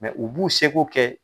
u b'u se ko kɛ.